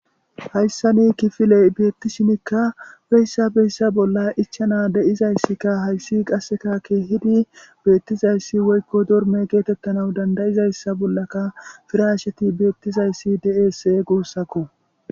Hayissan kifiley betishinikka beysa beysa bolla icanas de'izaysikka qasekka kehidi betizayss woyikko dorme getetanas dandayizassa bolakka pirashshet betizayissi de'ese gusakko